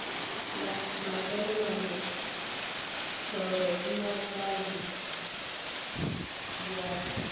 mafela mabelethoro leotša le dibjalo